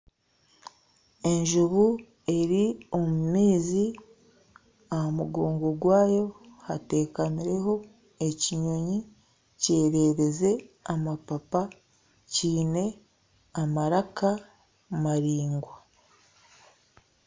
Enjuubu eri omumaizi aha mugongo gwaayo hatekamiremu ekinyonyi kyererize amapapa kiine amaraka maraingwa